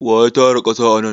Wa ya tara ƙasa anan?